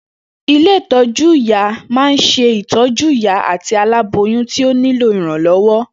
Ilé ìtọ́jú-ìyá ma ń se ìtọ́jú ìyá àti alábóyun tí ó ní lò ìrànlọ́wọ́.